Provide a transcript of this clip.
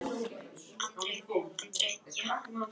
Þá er betra að vera ódauður í ólandi.